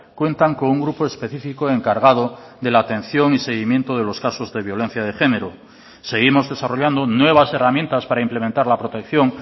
cuentan con un grupo específico encargado de la atención y seguimiento de los casos de violencia de género seguimos desarrollando nuevas herramientas para implementar la protección